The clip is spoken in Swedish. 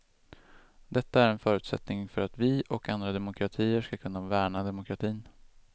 Detta är en förutsättning för att vi och andra demokratier skall kunna värna demokratin.